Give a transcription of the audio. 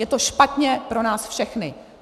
Je to špatně pro nás všechny.